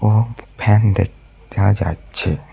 ও fan দে-দেখা যাচ্ছে।